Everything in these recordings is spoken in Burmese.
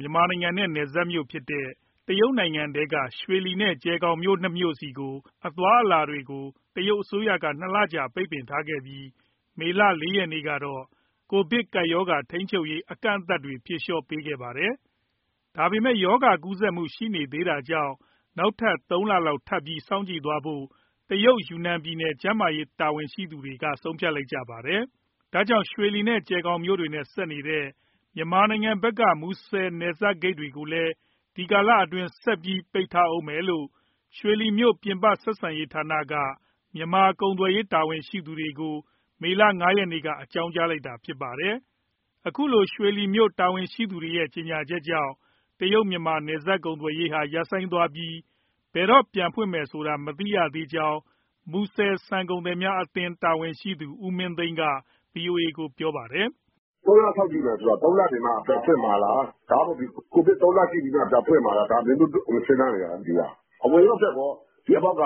မြန်မာနိုင်ငံနဲ့ နယ်စပ်ဖြစ်တဲ့ တရုတ်နိုင်ငံထဲက ရွှေလီနဲ့ ကျယ်ဂေါင်မြို့နှစ်ခုဆီ အသွားအလာတွေကို ကိုဗစ်ကူးစက်မှုကြောင့် တရုတ်အစိုးရက ၂ လကြာ ပိတ်ထားခဲ့ပြီး မေလ ၄ ရက်နေ့ကတော့ ကိုဗစ်ကပ်ရောဂါထိန်းချုပ်ရေး အကန့်အသတ်တွေ ဖြေလျှော့ပေးခဲ့ပါတယ်။ ဒါပေမဲ့ ရောဂါကူးစက်မှု ရှိနေသေးတာကြောင့် ၃ လလောက်ထပ်ပြီး စောင့်ကြည့်သွားဖို့ တရုတ် ယူနန်ပြည်နယ် ကျန်းမာရေးတာဝန်ရှိသူတွေက ဆုံးဖြတ်လိုက်တာပါ။ ဒါကြောင့် ရွှေလီ၊ ကြယ်ခေါင်မြို့တွေနဲ့ ဆက်နေတဲ့ မြန်မာနိုင်ငံဘက်က မူဆယ်နယ်စပ်ဂိတ်တွေကိုလည်း ဒီကာလအတွင်း ဆက်ပြီး ပိတ်ထားဦးမယ်လို့ ရွှေလီမြို့ ပြင်ပ ဆက်ဆံရေးဌာနက မြန်မာကုန်သွယ်ရေး တာဝန်ရှိသူတွေကို မေလ ၅ ရက်နေ့မှာ အကြောင်းကြားခဲ့တာ ဖြစ်ပါတယ်။ အခုလို ရွှေလီမြို့တာဝန်ရှိသူတွေရဲ့ ကြေညာချက်ကြောင့် တရုတ်-မြန်မာ နယ်စပ်ကုန်သွယ်ရေးဟာ ရပ်ဆိုင်းသွားပြီး ဘယ်တော့ပြန်ဖွင့်မယ်ဆိုတာ မသိရကြောင်း မူဆယ်ဆန်ကုန်သည်အသင်း တာဝန်ရှိသူ ဦးမင်းသိန်းက ဗွီအိုအေကို ပြောပါတယ်။ “၃ လ စောင့်ကြည့်မယ်ဆိုတာ သုံးလနေမှ ပြန်ဖွင့်မှာလား၊ ဒါမှမဟုတ် ကိုဗစ် သုံးလစစ်ပြီးမှ ပြန်ဖွင့်မှာလားဆိုတာ အမျိုမျိုး စဉ်းစားနေရတာ။ အဝင်ရော၊ အထွက်ရော ဒီအပေါက်က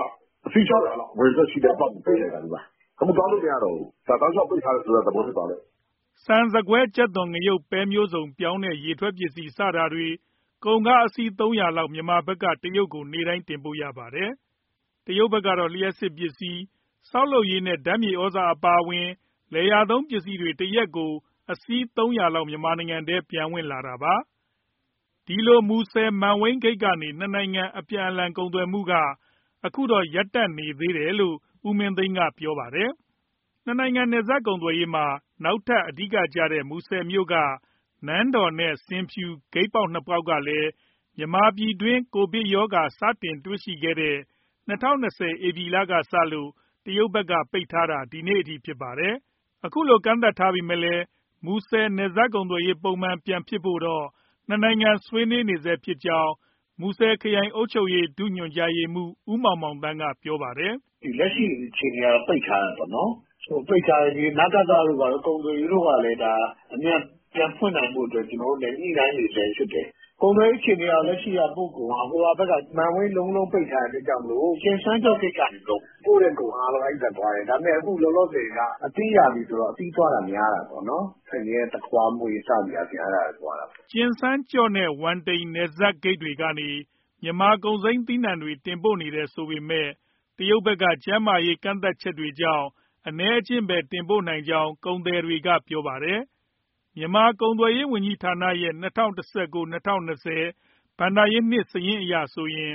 အစီး ၆၀၀ လောက် အဝင်၊ အထွက် ရှိတဲ့အပေါက်ကို ပိတ်လိုက်တာ အခုသွားလို့ မရတော့ဘူး။ ဒါတောက်လျှောက် ပိတ်ထားတယ်ဆိုတဲ့သဘော ဖြစ်သွားတယ်ပေါ့။” ဆန်၊ ဆန်ကွဲ၊ ကြက်သွန်၊ ငရုတ်၊ ပဲမျိုးစုံ၊ ပြောင်းနဲ့ ရေထွက်ပစ္စည်း စတာတွေ ကုန်ကားအစီး ၃၀၀ လောက် မြန်မာဘက်က တရုတ်ကို နေ့တိုင်းတင်ပို့ရပါတယ်။ တရုတ်ဘက်ကတော့ လျှပ်စစ်ပစ္စည်း၊ ဆောက်လုပ်ရေးနဲ့ ဓာတ်မြေဩဇာအပါအဝင် လယ်ယာသုံးပစ္စည်းတွေ တရက်ကို အစီး ၃၀၀ လောက် မြန်မာပြည်ထဲ ပြန်ဝင်လာတာပါ။ ဒီလို မူဆယ် မန်ဝိန်းဂိတ်ကနေ နှစ်နိုင်ငံ အပြန်အလှန် ကုန်သွယ်မှုက အခုတော့ ရပ်တန့်နေတယ်လို့ ဦးမင်းသိန်းက ပြောပါတယ်။ နှစ်နိုင်ငံ နယ်စပ်ကုန်သွယ်ရေးမှာ နောက်ထပ်အဓိကကျတဲ့ မူဆယ်မြို့က နန်းတော်နဲ့ ဆင်ဖြူ ဂိတ်ပေါက်နှစ်ခုကလည်း မြန်မာပြည်တွင်း ကိုဗစ်ရောဂါ စတင်တွေ့ရှိတဲ့ ၂၀၂၀ ဧပြီလကစလို့ တရုတ်ဘက်က ပိတ်ထားတာ ဒီနေ့အထိ ဖြစ်ပါတယ်။ အခုလို ကန့်သတ်ထားပေမဲ့လည်း မူဆယ် နယ်စပ်ကုန်သွယ်ရေး ပုံမှန်ပြန်ဖြစ်ဖို့တော့ နှစ်နိုင်ငံဆွေးနွေးနေဆဲဖြစ်ကြောင်း မူဆယ်ခရိုင်အုပ်ချုပ်ရေးဌာန၊ ဒုညွှန်ကြားရေးမှူး ဦးမောင်မောင်သန်းက ပြောပါတယ်။ “လက်ရှိအခြေအနေကတော့ ပိတ်ထားတယ်ပေါ့နော်၊ နကသတို့၊ ဘာတို့ ကုန်သွယ်ရေးကလည်း ပြန်ဖွင့်နိုင်ဖို့ ကျနော်တို့ ညှိနှိုင်းနေဆဲဖြစ်တယ်။ ကုန်သွယ်ရေး အခြေအနေက လက်ရှိကတော့ ပို့ကုန်က မန်ဝိန်း လုံးလုံးပိတ်ထားတဲ့အတွက်ကြောင့်မို့ ကျင်စန်းကြော့ဂိတ်ကနေ ပို့တဲ့ကုန်အားလုံး အဲဒီဘက်သွားတယ်။ ဒါပေမဲ့ လောလောဆယ်က အသီးရာသီဆိုတော့ သစ်သီးသွားတာ များတယ်ပေါ့၊ ဖရဲ၊ သခွားမွှေး စသည်အားဖြင့်ပေါ့။” ကျင်စန်းကြော့နဲ့ ဝမ်တိန် နယ်စပ်ဂိတ်ကနေ မြန်မာ့ကုန်စိမ်းသီးနှံတွေ တင်ပို့နေတယ်ဆိုပေမဲ့ တရုတ်ဘက်က ကျန်းမာရေး ကန့်သတ်ချက်တွေကြောင့် အနည်းအကျဉ်းပဲ တင်ပို့နိုင်ကြောင်း ကုန်သည်တွေက ပြောပါတယ်။ မြန်မာ ကုန်သွယ်ရေးဝန်ကြီးဌာနရဲ့ ၂၀၁၉-၂၀၂၀ ဘဏ္ဍာနှစ် စာရင်းအရဆိုရင်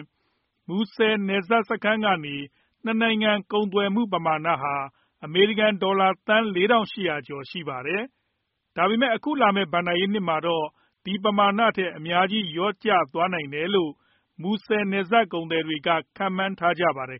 မူဆယ်နယ်စပ်စခန်းကနေ နှစ်နိုင်ငံ ကုန်သွယ်မှုပမာဏဟာ အမေရိကန်ဒေါ်လာ သန်း ၄,၈၀၀ ကျော်ရှိပါတယ်။ ဒါပေမဲ့ အခုလာမယ့် ဘဏ္ဍာနှစ်မှာတော့ ဒီပမာဏထက် အများကြီး လျော့ကျသွားနိုင်တယ်လို့ မူဆယ်နယ်စပ် ကုန်သည်တွေက ခန့်မှန်းထားပါတယ်